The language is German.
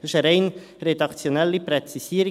Es ist eine rein redaktionelle Präzisierung.